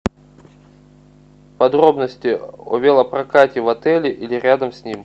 подробности о велопрокате в отеле или рядом с ним